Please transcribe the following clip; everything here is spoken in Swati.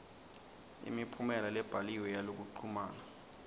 imiphumela lebhaliwe yalokuchumana